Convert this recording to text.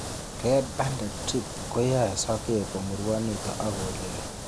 Red banded thrips koyoe sokek komurwonitun ok kolili